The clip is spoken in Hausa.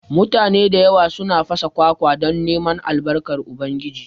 Mutane da yawa suna fasa kwakwa don neman Albarkan Ubangiji